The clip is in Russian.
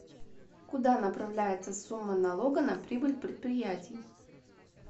куда направляется сумма налога на прибыль предприятий